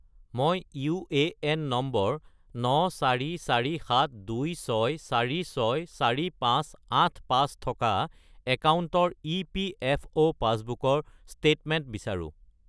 মই UAN number 944726464585 থকা একাউণ্টৰ ইপিএফঅ’ পাছবুকৰ ষ্টেটমেণ্ট বিচাৰোঁ